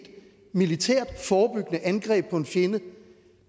militært forebyggende angreb på en fjende